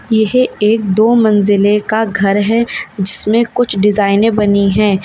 यह एक दो मंजिले का घर है जिसमें कुछ डिजाइने बनी है।